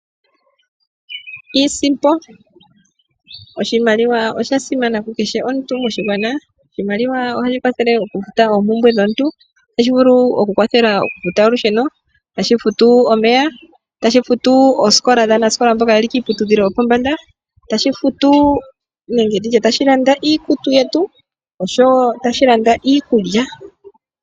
Iisimpo Oshimaliwa osha simana kukehe omuntu moshigwana. Oshimaliwa ohashi kwathele okufuta oompumbwe dhomuntu. Otashi vulu okukwathela okufuta olusheno, tashi futu omeya, tashi futu oosikola dhaanasikola mboka ye li kiiputudhilo yopombanda nenge ndi tye tashi landa iikutu yetu, oshowo tashi landa iikulya.